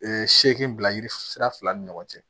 seegin bila yiri sira fila ni ɲɔgɔn cɛ